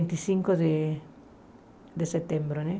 Vinte e cinco de de setembro né.